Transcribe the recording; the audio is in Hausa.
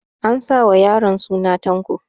An sa wa yaron suna Tanko